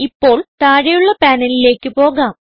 ഇപ്പോൾ താഴെയുള്ള പാനലിലേക്ക് പോകാം